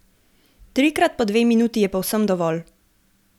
Trikrat po dve minuti je povsem dovolj.